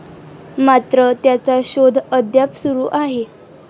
मात्र त्याचा शोध अद्याप सुरु आहे.